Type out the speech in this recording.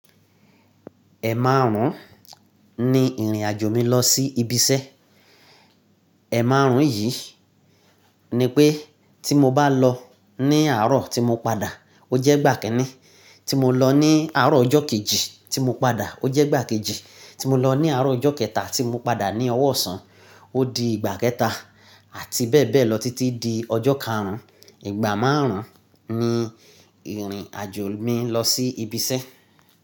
Ẹ̀maàrún ni ìrìnàjò mi lọ sí ibi iṣẹ́. Ẹ̀maàrún yìí ni pé tí mo bá lọ ní àárọ̀ tí mo padà ó jẹ́ ìgbà kinii, tí mo lọ ní àárọ̀ ọjọ́ kejì tí mo padà ó jẹ́ ìgbà kejì, tí mo lọ ní àárọ̀ ọjọ́ kẹta tí mo padà ní ọ̀wọ̀ ọ̀sán ó di ìgbà kẹta àti bẹ́ẹ̀ bẹ́ẹ̀ lọ títí di ọjọ́ karùn-ún. Ìgbà márùn-ún ni ìrìnàjò mi lọ sí ibi iṣẹ́.